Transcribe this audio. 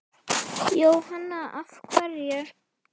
Jóhanna: Af hverju?